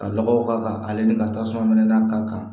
Ka lɔgɔw k'a kan ale ni ka tasuma n'a ka kan